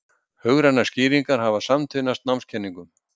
Hugrænar skýringar hafa samtvinnast námskenningum.